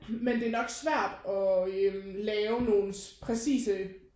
Men det er nok svært at øh lave nogen præcise